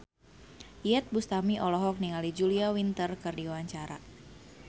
Iyeth Bustami olohok ningali Julia Winter keur diwawancara